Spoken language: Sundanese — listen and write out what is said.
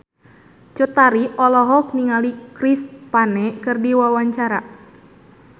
Cut Tari olohok ningali Chris Pane keur diwawancara